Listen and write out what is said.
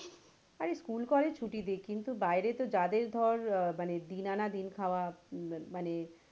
আরে school college ছুটি দিক কিন্তু বাইরে তো যাদের ধর দিন আনা দিন খাওয়া মানে,